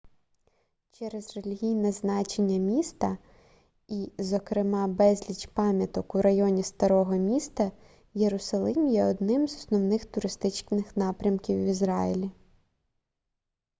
через релігійне значення міста і зокрема безліч пам'яток у районі старого міста єрусалим є одним з основних туристичних напрямків в ізраїлі